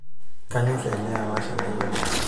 kanyorr ele alashe lai oleng'